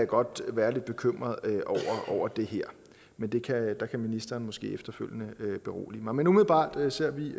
godt være lidt bekymret over det her men der kan ministeren måske efterfølgende berolige mig men umiddelbart ser vi